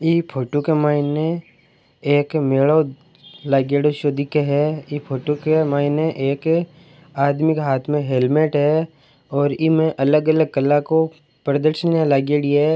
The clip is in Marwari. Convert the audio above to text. ये फोटो के माइने एक मेलो लागेड़ो शो दिके है ये फोटो के माइने एक आदमी के हाथ में हेलमेट है और इमे अलग अलग कला को प्रदर्शन लागेड़ी है।